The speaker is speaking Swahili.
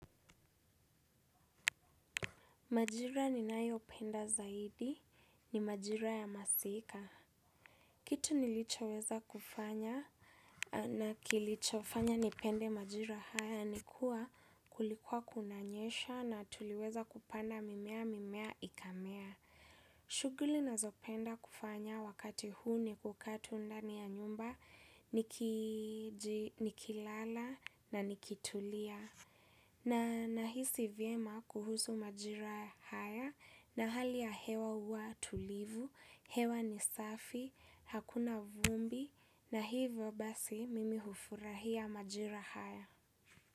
Majira ni nayo penda zaidi ni majira ya masika. Kitu nilicho weza kufanya na kilicho fanya nipende majira haya ni kuwa kulikua kunanyesha na tuliweza kupanda mimea mimea ikamea. Shughuli nazopenda kufanya wakati huu ni kuka tu ndani ya nyumba, nikilala na nikitulia. Na nahisi vyema kuhusu majira haya na hali ya hewa huwa tulivu, hewa ni safi, hakuna vumbi na hivyo basi mimi hufurahia majira haya.